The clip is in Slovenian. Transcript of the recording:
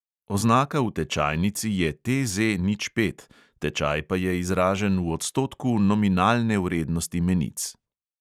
Oznaka v tečajnici je TZ nič pet, tečaj pa je izražen v odstotku nominalne vrednosti menic.